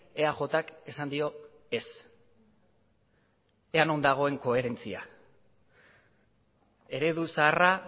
eajk esan dio ez ea non dagoen koherentzia eredu zaharra